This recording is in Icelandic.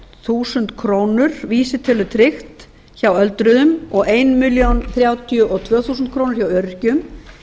þúsund krónur vísitölutryggt hjá öldruðum og eina milljón þrjátíu og tvö þúsund krónur hjá öryrkjum